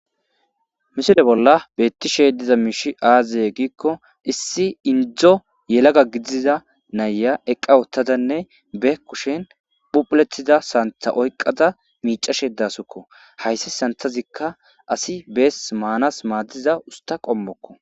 Misile bollan betishe dizayis aze giiko issi indo yalaga gidiza na'eya eqa utadan be kushen phuphule danida santha oyika micashe dawusko hays sanithazika beezi manas madida usta qomo